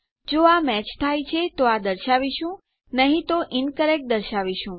જો આ મેચ થાય છે તો આ દર્શાવીશું નહી તો ઇન્કરેક્ટ દર્શાવીશું